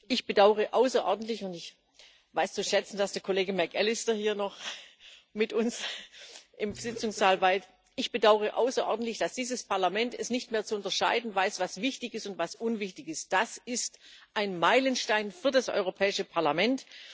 Ich bedaure außerordentlich und ich weiß zu schätzen, dass der Kollege McAllister hier noch mit uns im Sitzungssaal weilt dass dieses Parlament es nicht mehr zu unterscheiden weiß, was wichtig ist und was unwichtig ist. Das ist ein Meilenstein für das Europäische Parlament.